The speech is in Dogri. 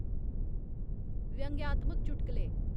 व्यंग्यात्मक चुटकले